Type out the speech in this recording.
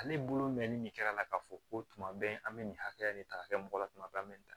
Ale bolo mɛnni min kɛra a la k'a fɔ ko tuma bɛɛ an bɛ nin hakɛya nin ta ka kɛ mɔgɔ la tuma bɛɛ an bɛ nin